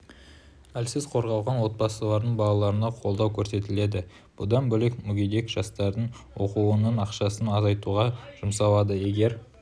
әлсіз қорғалған отбасылардың балаларына қолдау көрсетіледі бұдан бөлек мүгедек жастардың оқуының ақысын азайтуға жұмсалады егер